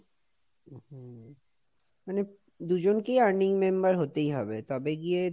মানে দুজনকেই earning member হতেই হবে, তবে গিয়ে,